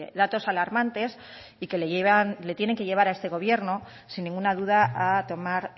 datos alarmantes y que le tienen que llevar a este gobierno sin ninguna duda a tomar